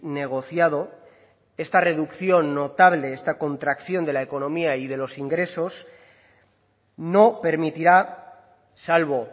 negociado esta reducción notable esta contracción de la economía y de los ingresos no permitirá salvo